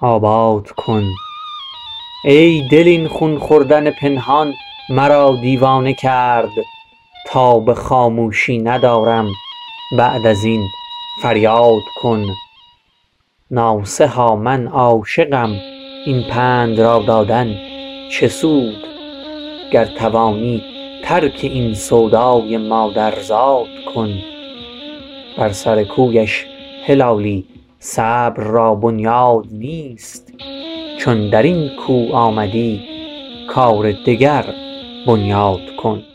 آباد کن ای دل این خون خوردن پنهان مرا دیوانه کرد تاب خاموشی ندارم بعد ازین فریاد کن ناصحا من عاشقم این پند را دادن چه سود گر توانی ترک این سودای مادرزاد کن بر سر کویش هلالی صبر را بنیاد نیست چون درین کو آمدی کار دگر بنیاد کن